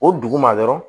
O duguma dɔrɔn